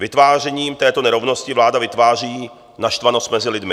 Vytvářením této nerovnosti vláda vytváří naštvanost mezi lidmi.